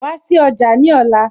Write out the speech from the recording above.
Wá sí ọjà ní ọ̀la